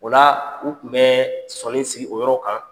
O la u tun bɛ sɔni sigi o yɔrɔ kan